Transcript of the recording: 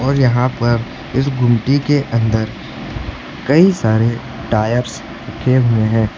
और यहां पर इस गुमटी के अंदर कई सारे टायर्स रखे हुए हैं।